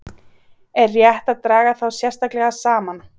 Er rétt að draga þá sérstaklega saman.